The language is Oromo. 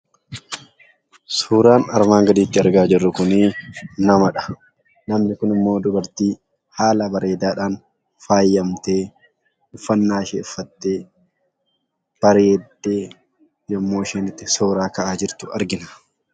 Suuraan armaan gaditti argaa jirru kun namadha. Namni kun immoo dubartii haala bareedaadhaan faayamtee, uffannaa ishee uffattee, bareeddee yommuu isheen itti suuraa ka'aa jirtu argina.